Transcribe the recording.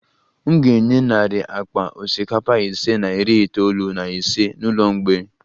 M ga-enye narị akpa osikapa ise na iri itoolu na ise n'ụlọ mgbei